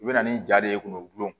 I bɛ na ni ja de ye k'u gulon